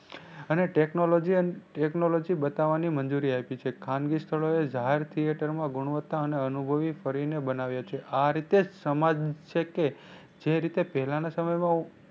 અને technology and technology બતાવાની મંજૂરી આપી છે. ખાનગી સ્થળોએ જાહેર theater માં ગુણવતા અને અનુભવી કરીને બનાવ્યા છે. આ રીતે સમાજ છે કે જે રીતે પહેલા ના સમય માં